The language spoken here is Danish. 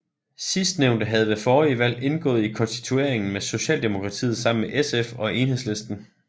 Sidstnævnte havde ved forrige valg indgået i konstitueringen med Socialdemokratiet sammen med SF og Enhedslisten